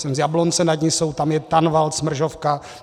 Jsem z Jablonce nad Nisou, tam je Tanvald, Smržovka.